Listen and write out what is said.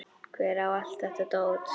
Hver á allt þetta dót?